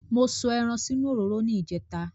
Mo sọ ẹran sínú òróró ní ìjẹta